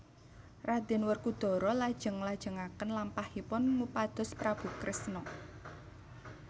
Raden Werkudara lajeng nglajengaken lampahipun ngupados Prabu Kresna